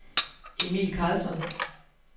Emil Karlsson